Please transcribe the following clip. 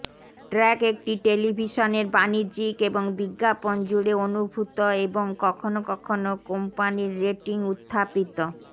track একটি টেলিভিশনের বাণিজ্যিক এবং বিজ্ঞাপন জুড়ে অনুভূত এবং কখনও কখনও কোম্পানীর রেটিং উত্থাপিত